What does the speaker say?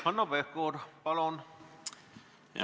Hanno Pevkur, palun!